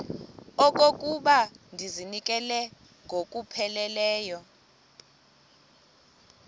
okokuba ndizinikele ngokupheleleyo